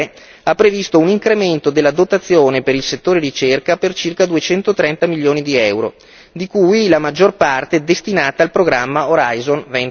3 ha previsto un incremento della dotazione per il settore ricerca per circa 230 milioni di euro, di cui la maggior parte destinata al programma Horizon